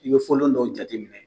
I bɛ folon dɔ jateminɛ.